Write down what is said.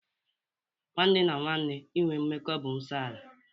Nwanne na nwenne inwe mmekọ bụ nsọ ala.